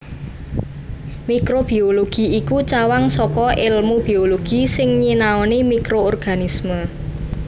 Mikrobiologi iku cawang saka èlmu biologi sing nyinaoni mikroorganisme